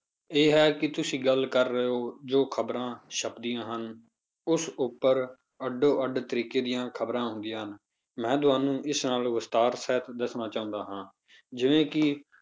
ਇਹ ਹੈ ਕਿ ਤੁਸੀਂ ਗੱਲ ਕਰ ਰਹੇ ਹੋ ਜੋ ਖ਼ਬਰਾਂ ਛੱਪਦੀਆਂ ਹਨ ਉਸ ਉੱਪਰ ਅੱਡੋ ਅੱਡ ਤਰੀਕੇ ਦੀਆਂ ਖ਼ਬਰਾਂ ਹੁੰਦੀਆਂ ਹਨ ਮੈਂ ਤੁਹਾਨੂੰ ਇਸ ਨਾਲੋਂ ਵਿਸਥਾਰ ਸਹਿਤ ਦੱਸਣਾ ਚਾਹੁੰਦਾ ਹਾਂ, ਜਿਵੇਂ ਕਿ